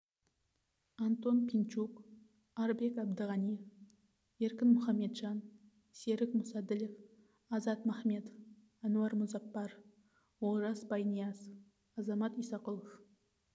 антон пинчук арбек әбдіғаниев еркін мұхамеджан серік мұсаділов азат махметов әнуар мұзаппаров олжас байниязов азамат исақұлов